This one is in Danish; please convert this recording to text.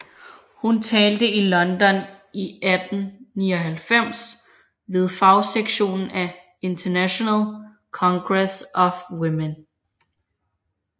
Hun talte i London i 1899 ved fagsektionen af International Congress of Women